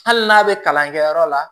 Hali n'a bɛ kalankɛyɔrɔ la